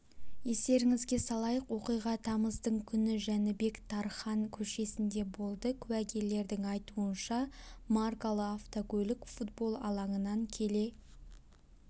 естеріңізге салайық оқиға тамыздың күні жәнібек тархан көшесінде болды куәгерлердің айтуынша маркалы автокөлік футбол алаңынан келе